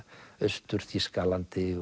Austur Þýskalandi